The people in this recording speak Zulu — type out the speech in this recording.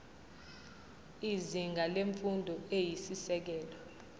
izinga lemfundo eyisisekelo